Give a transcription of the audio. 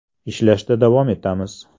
Ishlashda davom etamiz.